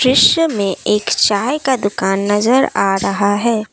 दृश्य में एक चाय का दुकान नजर आ रहा है।